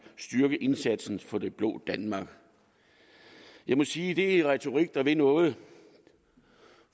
styrket indsats for det blå danmark jeg må sige at det er en retorik der vil noget